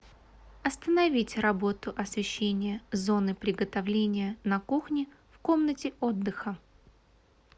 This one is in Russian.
остановить работу освещение зоны приготовления на кухне в комнате отдыха